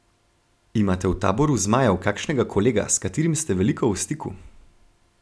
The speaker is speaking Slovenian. Imate v taboru zmajev kakšnega kolega, s katerim ste veliko v stiku?